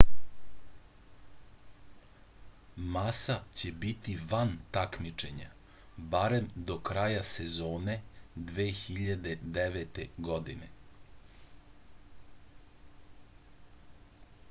masa će biti van takmičenja barem do kraja sezone 2009. godine